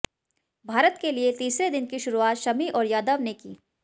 भारत के लिए तीसरे दिन की शुरुआत शमी और यादव ने की